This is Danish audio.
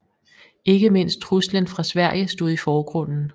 Ikke mindst truslen fra Sverige stod i forgrunden